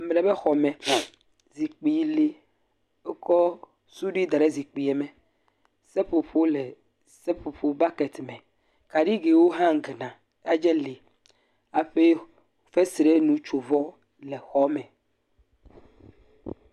Ame ɖe ƒe xɔme, zikpui le, wokɔ sudui ɖa ɖe zikpui me. Seƒoƒo le seƒoƒo bɔketi me. Kaɖi ke wo hung na yatse le eƒe fesrenutsovɔ yatse le.